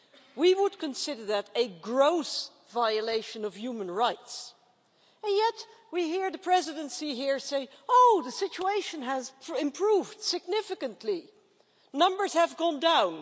We would consider that a gross violation of human rights, yet we hear the Presidency here say oh the situation has improved significantly, numbers have gone down'.